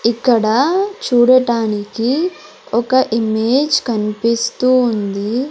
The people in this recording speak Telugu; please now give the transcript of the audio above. ఇక్కడ చూడటానికి ఒక ఇమేజ్ కనిపిస్తూ ఉంది.